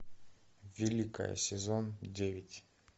великая сезон девять